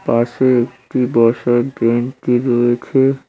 পাশে একটি বসার বেঞ্চি রয়েছে।